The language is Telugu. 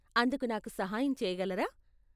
అందుకు నాకు సహాయం చేయగలరా?